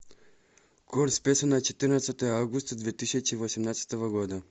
курс песо на четырнадцатое августа две тысячи восемнадцатого года